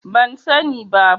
Ban sani bi